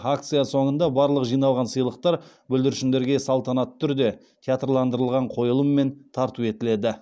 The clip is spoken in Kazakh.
акция соныңда барлық жиналған сыйлықтар бүлдіршіндерге салтанатты түрде театрландырылған қойылыммен тарту етіледі